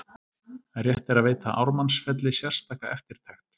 Rétt er að veita Ármannsfelli sérstaka eftirtekt.